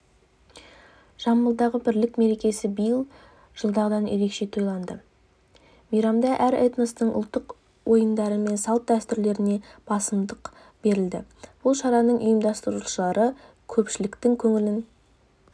жамбылдағы бірлік мерекесі биыл жылдағыдан ерекше тойланды мейрамда әр этностың ұлттық ойындары мен салт-дәстүрлеріне басымдық берілді бұл шараны ұйымдастырушылар көпшіліктің көңілін